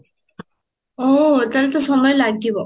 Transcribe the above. ଓଃ ତାହାଲେ ତ ସମୟ ଲାଗିବ